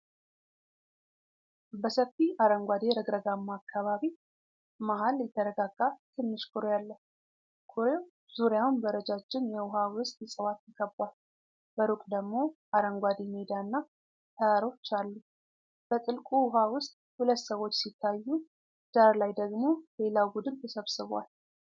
በሰፊ አረንጓዴ ረግረጋማ አካባቢ መሃል የተረጋጋ ትንሽ ኩሬ አለ። ኩሬው ዙሪያውን በረጃጅም የውሃ ውስጥ እጽዋት ተከቧል፣ በሩቅ ደግሞ አረንጓዴ ሜዳና ተራሮች አሉ። በጥልቁ ውኃ ውስጥ ሁለት ሰዎች ሲታዩ፣ ዳር ላይ ደግሞ ሌላ ቡድን ተሰብስቦአል።